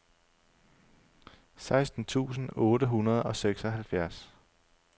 seksten tusind otte hundrede og seksoghalvfjerds